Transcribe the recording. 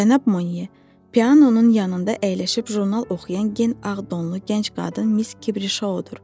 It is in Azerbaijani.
Cənab Monye, pianonun yanında əyləşib jurnal oxuyan gen ağ donlu gənc qadın Miss Kibrişodur.